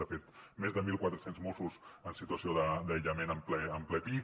de fet més de mil quatre cents mossos en situació d’aïllament en ple pic